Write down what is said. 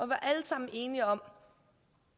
var alle sammen enige om